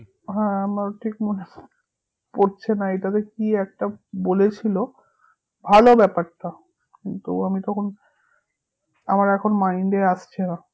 হ্যাঁ আমারও ঠিক মনে পড়ছেনা এটা বেশ কি একটা বলেছিলো ভালো ব্যাপারটা, কিন্তু আমি তখন আমার এখন mind এ আসছে না